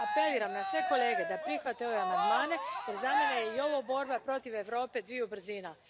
Apeliram na sve kolege da prihvate ove amandmane jer za mene je i ovo borba protiv Europe dviju brzina.